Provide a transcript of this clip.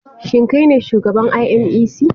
Shin kai ne shugaban inec?